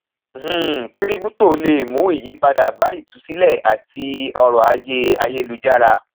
um kíríptò le mú ìyípadà bá ìtusílẹ àti ọrọ ajé ayélujára